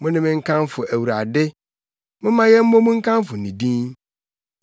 Mo ne me nkamfo Awurade; momma yɛmmɔ mu nkamfo ne din!